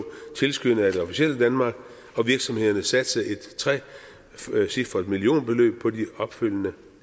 tilskyndet af det officielle danmark og virksomhederne satsede et trecifret millionbeløb på de opfølgende